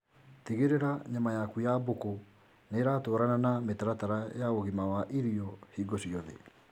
Tigĩrĩra nyama yaku ya mbũkũ nĩratwarana na mitaratara ya ũgima wa irio hingo ciothe